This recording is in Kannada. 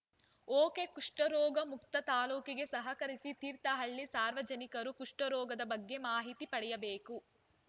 ಒಕೆಕಷ್ಠರೋಗ ಮುಕ್ತ ತಾಲೂಕಿಗೆ ಸಹಕರಿಸಿ ತೀರ್ಥಹಳ್ಳಿ ಸಾರ್ವಜನಿಕರು ಕುಷ್ಠರೋಗದ ಬಗ್ಗೆ ಮಾಹಿತಿ ಪಡೆಯಬೇಕು